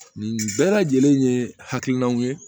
Nin bɛɛ lajɛlen ye hakilinaw ye